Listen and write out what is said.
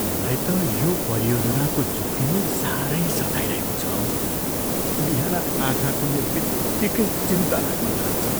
मलाई त यो परियोजनाको जोखिमले साह्रै सताइरहेको छ हौ। बिहान आँखा खुल्ने बित्तिकै चिन्ता लाग्न थाल्छ।